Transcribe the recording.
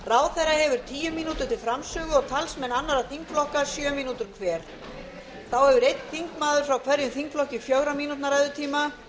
hefur tíu mínútur til framsögu og talsmenn annarra þingflokka sjö mínútur hver þá hefur einn þingmaður frá hverjum þingflokki fjögurra mínútna ræðutíma